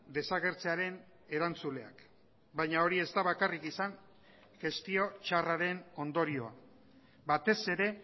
desagertzearen erantzuleak baina hori ez da bakarrik izan gestio txarraren ondorioa batez ere